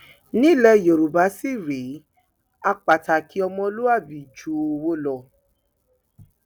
nílẹ yorùbá sì rèé á pàtàkì ọmọlúàbí ju owó lọ